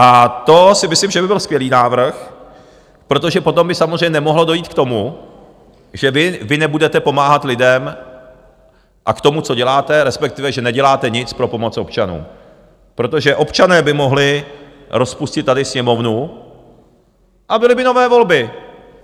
A to si myslím, že by byl skvělý návrh, protože potom by samozřejmě nemohlo dojít k tomu, že vy nebudete pomáhat lidem, a k tomu, co děláte, respektive že neděláte nic pro pomoc občanům, protože občané by mohli rozpustit tady Sněmovnu a byly by nové volby.